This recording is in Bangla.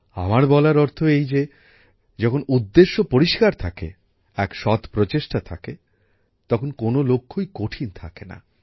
আমার বলার অর্থ এই যে যখন উদ্দেশ্য স্থির থাকে এক সৎ প্রচেষ্টা থাকে তখন কোনো লক্ষ্যই কঠিন থাকে না